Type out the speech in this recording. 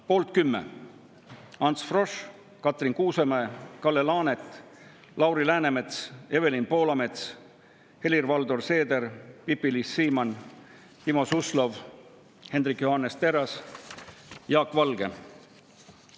Poolt 10: Ants Frosch, Katrin Kuusemäe, Kalle Laanet, Lauri Läänemets, Evelin Poolamets, Helir-Valdor Seeder, Pipi-Liis Siemann, Timo Suslov, Hendrik Johannes Terras, Jaak Valge.